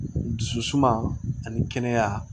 Dusu suma ani kɛnɛya